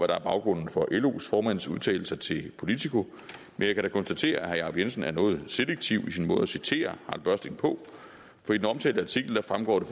der er baggrunden for los formands udtalelser til politiko men jeg kan da konstatere at herre jacob jensen er noget selektiv i sin måde at citere harald børsting på for i den omtalte artikel fremgår det